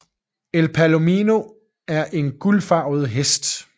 En palomino er en guldfarvet hest